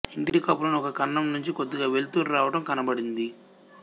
ఇంటి కప్పులోని ఒక కన్నం నుంచి కొద్దిగా వెలుతురు రావటం కనబడింది